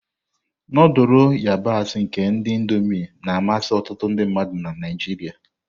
Nudulu ayabasi nke ndi Indómii na-amasị ọtụtụ ndị mmadụ na Naijiria.